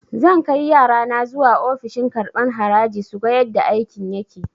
Zan kai yarana zuwa ofishin karɓan haraji suga yadda aikin yake